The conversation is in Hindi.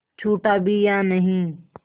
छूटा भी या नहीं